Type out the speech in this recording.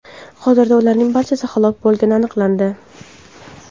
Hozirda ularning barchasi halok bo‘lgani aniqlandi.